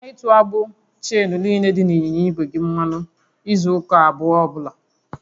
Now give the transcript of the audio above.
Cheta ịtụ agbụ cheenu niile dị n'ịnyịnya igwe gị mmanụ kwa izu ụka abụọ ọbụla